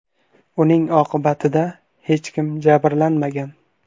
Uning oqibatida hech kim jabrlanmagan.